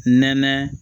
Nɛnɛ